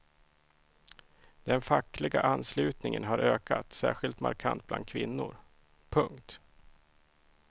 Den fackliga anslutningen har ökat särskilt markant bland kvinnor. punkt